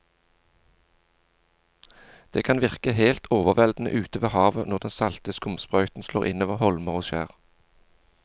Det kan virke helt overveldende ute ved havet når den salte skumsprøyten slår innover holmer og skjær.